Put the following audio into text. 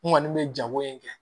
N kɔni bɛ jago in kɛ